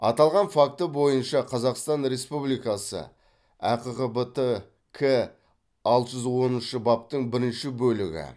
аталған факті бойынша қазақстан республикасы әқғбтк алты жүз оныншы баптың бірінші бөлігі